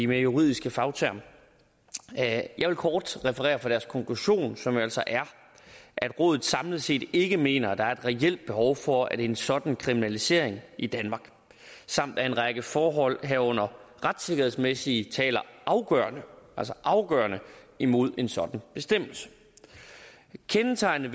mere juridiske fagtermer jeg vil kort referere fra deres konklusion som jo altså er at rådet samlet set ikke mener at der er et reelt behov for en sådan kriminalisering i danmark samt at en række forhold herunder retssikkerhedsmæssige taler afgørende altså afgørende imod en sådan bestemmelse kendetegnende